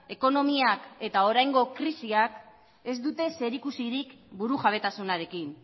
ekonomiak eta oraingo krisiak ez dute zerikusirik burujabetasunarekin